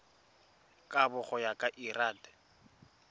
kabo go ya ka lrad